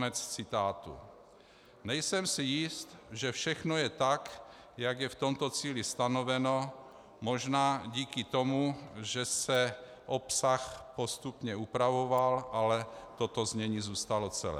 Nejsem si jist, že všechno je tak, jak je v tomto cíli stanoveno, možná díky tomu, že se obsah postupně upravoval, ale toto znění zůstalo celé.